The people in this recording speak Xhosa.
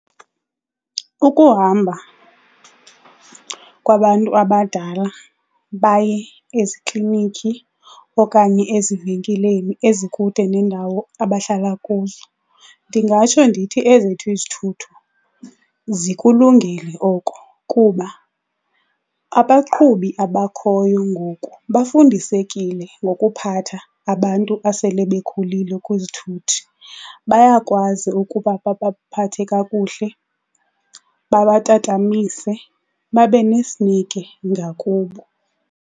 Ukuhamba kwabantu abadala baye eziklinikhi okanye ezivenkileni ezikude nendawo abahlala kuzo, ndingatsho ndithi ezethu izithuthi zikulungele oko kuba abaqhubi abakhoyo ngoku bafundisekile ngokuphatha abantu abasele bekhulile kwizithuthi. Bayakwazi ukuba babaphathe kakuhle bakatatamise babe nesineke ngakubo.